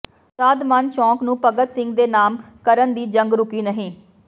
ਸ਼ਾਦਮਾਨ ਚੌਕ ਨੂੰ ਭਗਤ ਸਿੰਘ ਦੇ ਨਾਮ ਕਰਨ ਦੀ ਜੰਗ ਰੁਕੀ ਨਹੀਂ